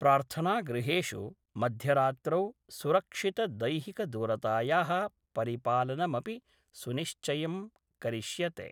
प्रार्थनागृहेषु मध्यरात्रौ सुरक्षितदैहिकदूरताया: परिपालनमपि सुनिश्चयं करिष्यते।